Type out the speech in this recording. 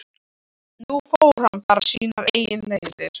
Nú fór hann bara sínar eigin leiðir.